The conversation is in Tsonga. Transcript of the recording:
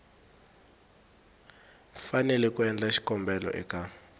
fanele ku endla xikombelo eka